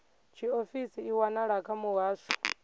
tshiofisi i wanala kha muhasho